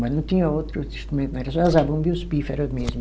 Mas não tinha outro instrumento, era só a zabumba e os pífaro mesmo.